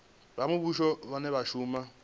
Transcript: vha muvhuso vhane vha shuma